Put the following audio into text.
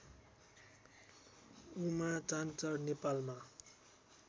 उमा चाँचर नेपालमा